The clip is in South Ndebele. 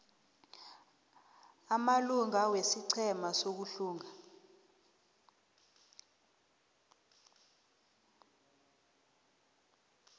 amalunga wesiqhema sokuhlunga